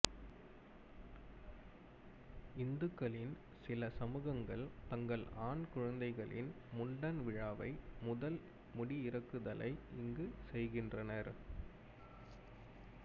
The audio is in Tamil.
இந்துக்களின் சில சமூகங்கள் தங்கள் ஆண் குழந்தைகளின் முண்டன் விழாவை முதல் முடி இறக்குதலை இங்குச் செய்கின்றனர்